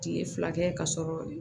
Kile fila kɛ ka sɔrɔ